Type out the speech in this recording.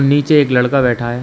नीचे एक लड़का बैठा है।